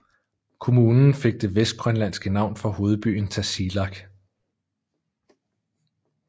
Kommunen fik det vestgrønlandske navn for hovedbyen Tasiilaq